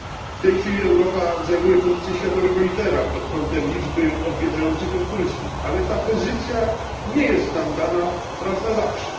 W tej chwili Europa zajmuje pozycję światowego lidera pod kątem liczby odwiedzających ją turystów, ale ta pozycja nie jest nam dana raz na zawsze.